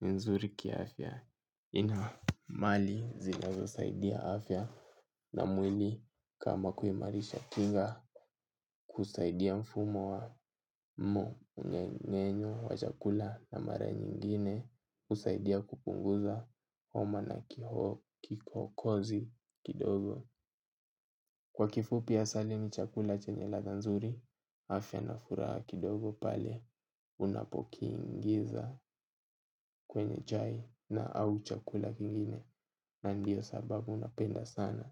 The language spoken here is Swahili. ni nzuri kiafya. Ina mali zinazosaidia afya na mwili kama kuimarisha kinga. Kusaidia mfumo wa mmengenyo, wa chakula na mara nyingine husaidia kupunguza homa na kikohozi kidogo. Kwa kifupi asali ni chakula chenye ladha nzuri. Afya na furaha kidogo pale unapokiingiza kwenye chai na au chakula kingine. Na ndiyo sababu napenda sana.